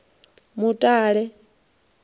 mutale